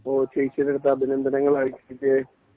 ഓഹ് ചേച്ചിയുടെ അടുത്ത് അഭിനന്ദനങ്ങൾ ആശംസിച്ചെ